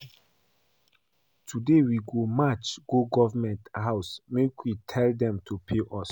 Today we go march go government house make we tell dem to pay us